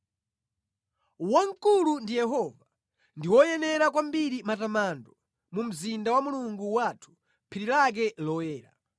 Wamkulu ndi Yehova, ndi woyenera kwambiri matamando mu mzinda wa Mulungu wathu, phiri lake loyera.